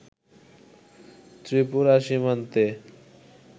ত্রিপুরা সীমান্তে